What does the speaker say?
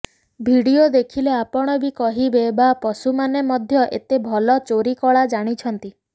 video ଦେଖିଲେ ଆପଣ ବି କହିବେ ବାଃ ପଶୁମାନେ ମଧ୍ୟ ଏତେ ଭଲ ଚୋରି କଳା ଜାଣିଛନ୍ତି